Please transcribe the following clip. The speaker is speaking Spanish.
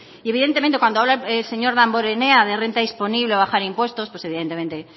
y evidentemente cuando habla el señor damborenea de la renta disponible la bajada de impuesto pues evidentemente